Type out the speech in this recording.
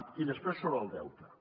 i després sobre el deute